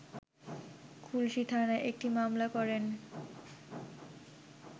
খুলশী থানায় একটি মামলা করেন